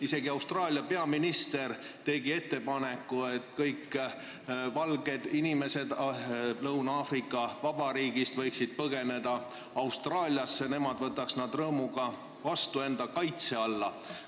Isegi Austraalia peaminister tegi ettepaneku, et kõik valged inimesed võiksid Lõuna-Aafrika Vabariigist põgeneda Austraaliasse, nemad võtaksid nad rõõmuga enda kaitse alla.